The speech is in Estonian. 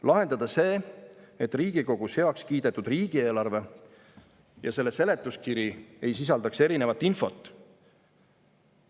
Lahendada see, et Riigikogus heaks kiidetud riigieelarve ja selle seletuskiri ei sisaldaks erinevat infot.